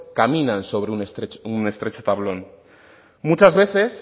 caminan sobre un estrecho tablón muchas veces